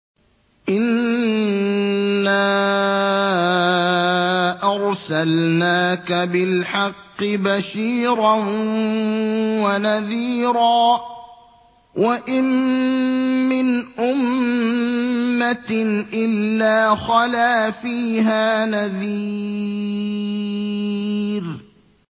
إِنَّا أَرْسَلْنَاكَ بِالْحَقِّ بَشِيرًا وَنَذِيرًا ۚ وَإِن مِّنْ أُمَّةٍ إِلَّا خَلَا فِيهَا نَذِيرٌ